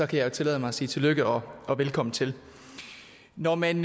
kan tillade mig at sige tillykke og velkommen til når man